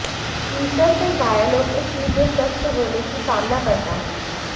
ईश्वर से घायलों के शीघ्र स्वस्थ होने की कामना करता हूं